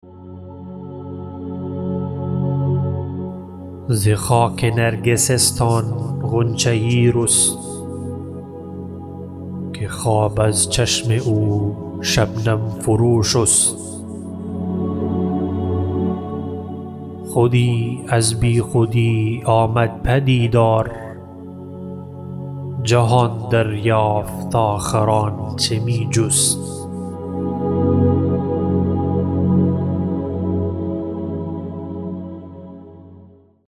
ز خاک نرگسستان غنچه یی رست که خواب از چشم او شبنم فرو شست خودی از بیخودی آمد پدیدار جهان دریافت آخر آنچه می جست